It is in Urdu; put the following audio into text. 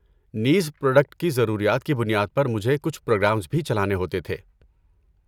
نیز، پراڈکٹ کی ضروریات کی بنیاد پر مجھے کچھ پروگرامز بھی چلانے ہوتے تھے۔